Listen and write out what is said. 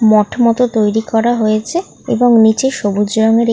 মঠ মতো তৈরী করা হয়েছে এবং নিচে সবুজ রঙের এক --